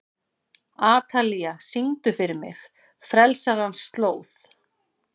Atalía, syngdu fyrir mig „Frelsarans slóð“.